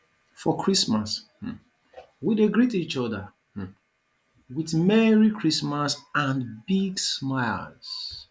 for christmas um we dey greet each other um with merry christmas and big smiles